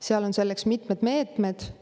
Seal on selleks mitmed meetmed.